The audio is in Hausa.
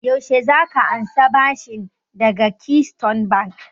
Yaushe za ka ansa bashin daga keystone bank?